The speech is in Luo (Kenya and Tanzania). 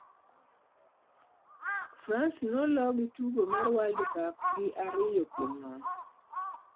France ne olo gi tugo mar World Cup gi ariyo kuom nono